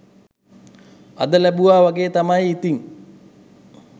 අද ලැබුවා වගේ තමයි ඉතින්